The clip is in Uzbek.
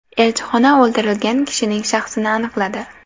Elchixona o‘ldirilgan kishining shaxsini aniqladi.